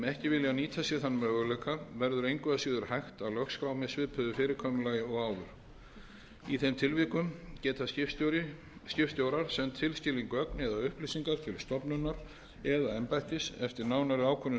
ekki vilja nýta sér þann möguleika verður engu að síður hægt að lögskrá með svipuðu fyrirkomulagi og áður í þeim tilvikum geta skipstjórar sent tilskilin gögn eða upplýsingar til stofnunar eða embættis eftir nánari ákvörðun samgöngu